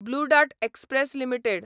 blue Dart Express limited